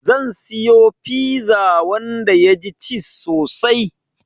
Zan siyo fiza wanda yaji ciz sosai